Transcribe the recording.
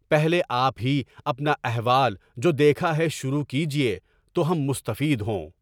پہلے آپ ہی اپنا احوال جو دیکھے ہیں شروع سے ہی تو ہم مستفید ہوں۔